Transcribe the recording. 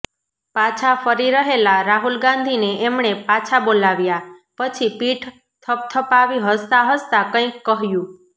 પાછા ફરી રહેલા રાહુલ ગાંધીને એમણે પાછા બોલાવ્યા પછી પીઠ થપથપાવી હસતા હસતા કંઈક કહ્યું